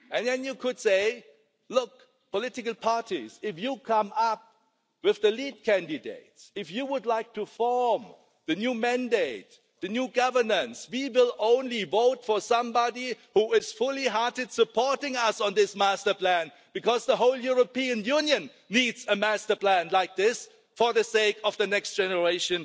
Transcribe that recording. Then you could say, look, political parties, if you come up with the lead candidates, if you would like to form the new mandate, the new governance, we will only vote for somebody who is full-heartedly supporting us on this master plan because the whole European Union needs a master plan like this for the sake of the next generation.